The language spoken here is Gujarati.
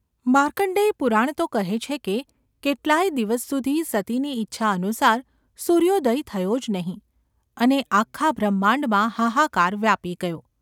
માર્કંડેય પુરાણ તો કહે છે કે કેટલા યે દિવસ સુધી સતીની ઇચ્છાનુસાર સૂર્યોદય થયો જ નહિ અને આખા બ્રહ્માંડમાં હાહાકાર વ્યાપી ગયો.